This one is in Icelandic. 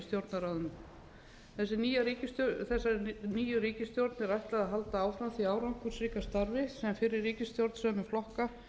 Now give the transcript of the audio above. stjórnarráðinu þessari nýju ríkisstjórn er ætlað að halda áfram sínu árangursríka starfi en fyrri ríkisstjórn sömu flokka